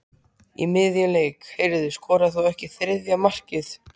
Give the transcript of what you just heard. Í miðjum leik: Heyrðu, skoraðir þú ekki þriðja markið?